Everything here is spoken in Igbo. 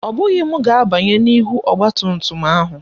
Ọ bụghị m ga-abanye n'ihu ọgbatumtum ahụ